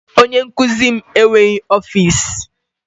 Onye nkuzi m enweghị ọfịs